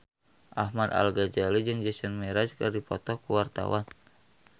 Ahmad Al-Ghazali jeung Jason Mraz keur dipoto ku wartawan